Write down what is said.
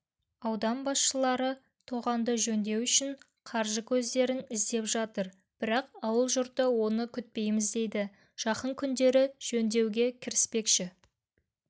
аудан басшылары тоғанды жөндеу үшін қаржы көздерін іздеп жатыр бірақ ауыл жұрты оны күтпейміз дейді жақын күндері жөндеуге кіріспекші